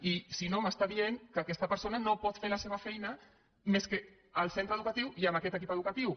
i si no em diu que aquesta persona només pot fer la seva feina al centre educatiu i amb aquest equip educatiu